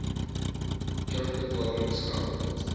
terugbetalinggeld